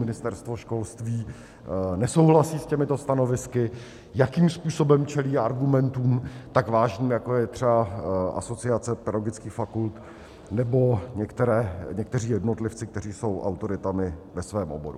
Ministerstvo školství nesouhlasí s těmito stanovisky, jakým způsobem čelí argumentům tak vážným, jako je třeba Asociace pedagogických fakult nebo někteří jednotlivci, kteří jsou autoritami ve svém oboru.